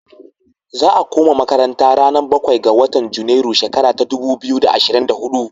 Za'a kuma makaranta ranar bakwai ga watan junairu shekara ta dubu biyu da ashirin da huɗu.